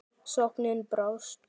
Sóknin brást.